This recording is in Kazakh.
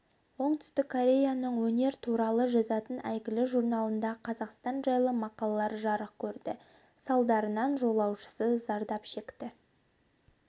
оңтүстік кореяның өнер туралы жазатын әйгілі журналында қазақстан жайлы мақалалар жарық көрді салдарынан жолаушысы зардап шекті